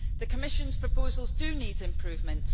the Commission's proposals need improvement.